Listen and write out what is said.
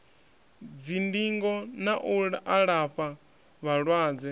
dzindingo na u alafha vhalwadze